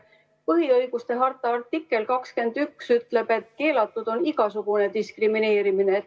Põhiõiguste harta artikkel 21 ütleb, et keelatud on igasugune diskrimineerimine.